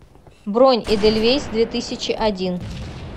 бронь эдельвейс две тысячи один